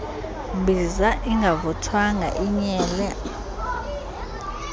mbiza ingavuthwanga inyele